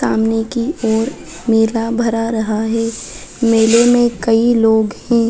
सामने की और मेला भरा रहा है मेले मे कई लोग है ।